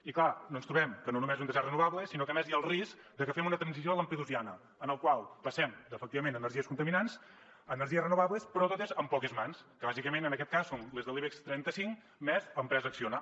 i clar ens trobem que no només han de ser renovables sinó que a més hi ha el risc de que fem una transició lampedusiana en la qual passem efectivament d’energies contaminants a energies renovables però totes en poques mans que bàsicament en aquest cas són les de l’ibex trenta cinc més l’empresa acciona